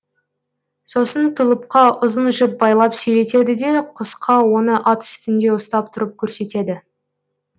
сосын тұлыпқа ұзын жіп байлап сүйретеді де құсқа оны ат үстінде ұстап тұрып көрсетеді